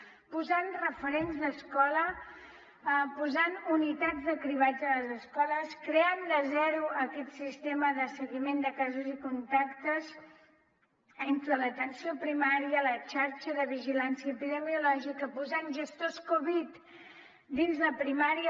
hem posat referents d’escola hem posat unitats de cribratge a les escoles hem creat de zero aquest sistema de seguiment de casos i contactes entre l’atenció primària la xarxa de vigilància epidemiològica posant gestors covid dins de primària